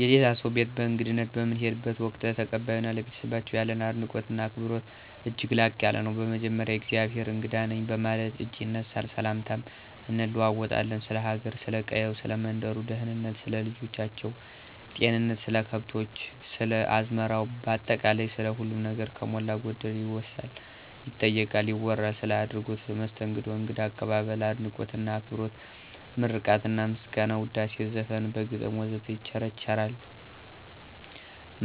የሌላ ሰው ቤት በእንግድነት በምንሄድበት ወቅት፣ ለተቀባዮ እና ለቤተሰባቸው ያለን አድናቆት እና አክብሮት እጅግ ላቅ ያለ ነው። በመጀመሪያ የእግዜሄር እንግዳ ነኝ በማለት እጅ ይነሳ፣ ሰላምታም እንለዋወጣለን፣ ስለ ሀገሩ፥ ስለ ቀየው፥ ሰለ መንደሩ ደህንነት፥ ስለ ልጆች ጤንነት፥ ስለ ከብቶች፥ ስለ አዝመራው ባጠቃላይ ስለ ሁሉም ነገር ከሞላ ጎደል ይወሳል፥ ይጠየቃል፥ ይወራል። ስለ አደረጉት መስተንግዶ እንግዳ አቀባበል፤ አድናቆት እና አክብሮት ምርቃትና ምስጋና፣ ውዳሴ፣ ዘፈን፣ በግጥም ወዘተ ይቸራቸዋል